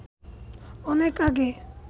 অনেক আগে